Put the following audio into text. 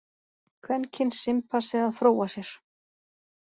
Kvenkyns simpansi að fróa sér.